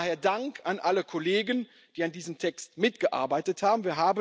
Daher Dank an alle Kollegen, die an diesem Text mitgearbeitet haben.